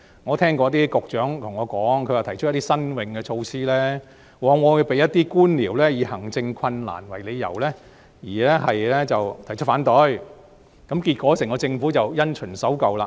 我曾聽過一些局長對我說，他們提出一些新穎措施時，往往遭一些官僚以行政困難為由而提出反對，結果整個政府便因循守舊。